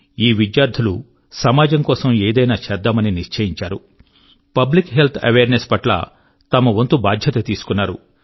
ఈ విద్యార్థులు సమాజం కోసం ఏదైనా చేద్దామని నిశ్చయించారు పబ్లిక్ హెల్త్ అవేర్ నెస్ పట్ల తమ వంతు బాధ్యత తీసుకున్నారు